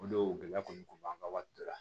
O don gɛlɛya kɔni kun b'an ka wari dɔ la